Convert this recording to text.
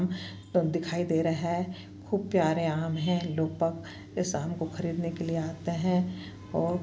दन दिखाई दे रहे है खूब प्यारे आम है लुपप इंसान उनको खरीदने के लिए आते है और--